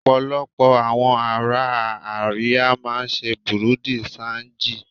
Ọ̀pọ̀lọpọ̀ àwọn ará Àríwá máa ń ṣe Bùrú dì ṣanjì.